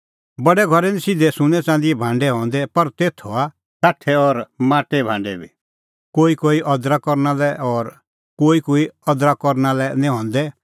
बडै घरै निं सिधै सुन्नैं च़ंदीए भांडै हंदै पर तेथ हआ काठे और माटेए भांडै बी कोईकोई अदर करना लै और कोईकोई निं अदर करना लै हंदै